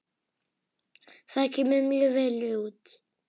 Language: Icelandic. Það kemur mjög vel út.